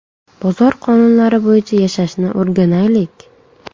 Bozor qonunlari bo‘yicha yashashni o‘rganaylik!